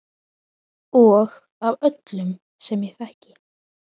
Og af öllum sem ég þekki.